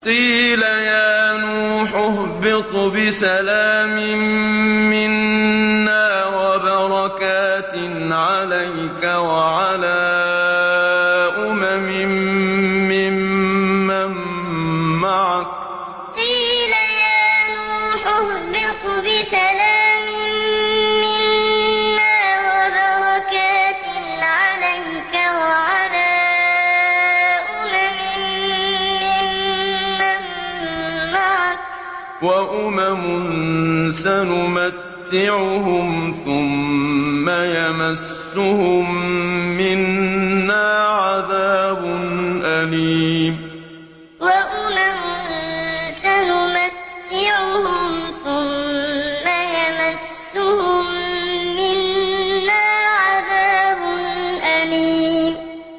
قِيلَ يَا نُوحُ اهْبِطْ بِسَلَامٍ مِّنَّا وَبَرَكَاتٍ عَلَيْكَ وَعَلَىٰ أُمَمٍ مِّمَّن مَّعَكَ ۚ وَأُمَمٌ سَنُمَتِّعُهُمْ ثُمَّ يَمَسُّهُم مِّنَّا عَذَابٌ أَلِيمٌ قِيلَ يَا نُوحُ اهْبِطْ بِسَلَامٍ مِّنَّا وَبَرَكَاتٍ عَلَيْكَ وَعَلَىٰ أُمَمٍ مِّمَّن مَّعَكَ ۚ وَأُمَمٌ سَنُمَتِّعُهُمْ ثُمَّ يَمَسُّهُم مِّنَّا عَذَابٌ أَلِيمٌ